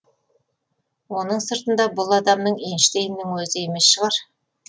оның сыртында бұл адамың эйнштейннің өзі емес шығар